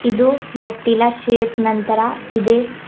ಇದು ಮೆಟ್ಟಿಲ ಶೇಪ್ ನಂತರ ಇದೆ.